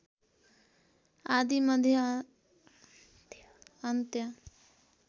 आदि मध्य अन्त्य